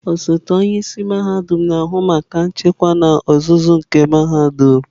Osote onye isi mahadum na-ahụ maka nchịkwa n'ozuzu nke mahadum.